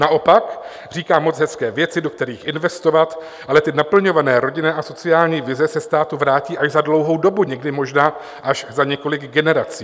Naopak, říká moc hezké věci, do kterých investovat, ale ty naplňované rodinné a sociální vize se státu vrátí až za dlouhou dobu, někdy možná až za několik generací.